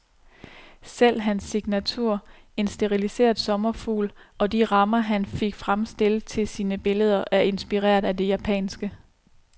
Selv hans signatur, en stiliseret sommerfugl, og de rammer han fik fremstillet til sine billeder, er inspireret af det japanske.